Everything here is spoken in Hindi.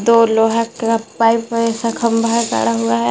और लोहा का पाइप है इसका खंबा है गाड़ा हुआ है।